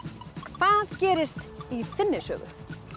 hvað gerist í þinni sögu